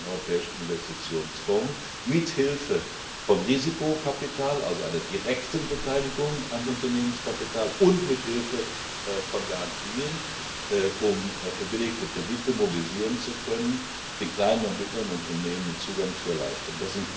den Europäischen Investitionsfonds mit Hilfe von Risikokapital also einer direkten Beteiligung am Unternehmenskapital und mit Hilfe von Garantien verbillige Kredite mobilisieren zu können, um den kleinen und mittleren Unternehmen den Zugang zu erleichtern.